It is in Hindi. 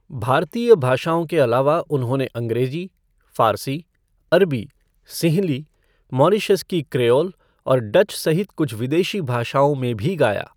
भारतीय भाषाओं के अलावा उन्होंने अंग्रेजी, फ़ारसी, अरबी, सिंहली, मॉरीशस की क्रेओल और डच सहित कुछ विदेशी भाषाओं में भी गाया।